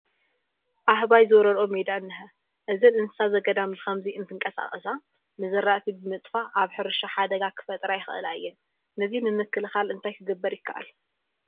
ኣሕባይ ዝወረርኦ ሜዳ እኒሀ፡፡ እዘን እንስሳ ዘገዳም ብኸምዚ እንትንቀሳቐሳ ንዝራእቲ ብምጥፋእ ኣብ ሕርሻ ሓደጋ ክፈጥራ ይኽእላ እየን፡፡ ነዚ ንምክልኻል እንታይ ክግበር ይከኣል?